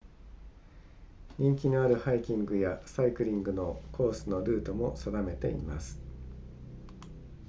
人気のあるハイキングやサイクリングのコースのルートも定めています